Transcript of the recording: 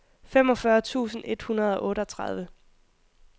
femogfyrre tusind et hundrede og otteogtredive